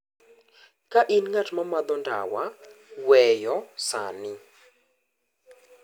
"ka in ng'at ma madho ndawa-weyo sani-."